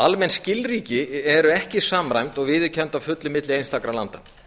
almenn skilríki eru ekki samræmd og viðurkennd að fullu milli einstakra landa